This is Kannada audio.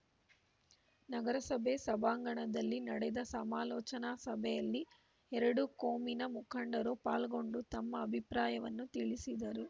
ನಗರಸಭೆ ಸಭಾಂಗಣದಲ್ಲಿ ನಡೆದ ಸಮಾಲೋಚನಾ ಸಭೆಯಲ್ಲಿ ಎರಡೂ ಕೋಮಿನ ಮುಖಂಡರು ಪಾಲ್ಗೊಂಡು ತಮ್ಮ ಅಭಿಪ್ರಾಯವನ್ನು ತಿಳಿಸಿದರು